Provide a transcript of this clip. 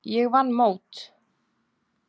Ég vann mót.